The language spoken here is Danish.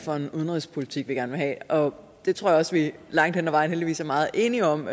for en udenrigspolitik vi gerne vil have og det tror jeg også vi langt hen ad vejen heldigvis er meget enige om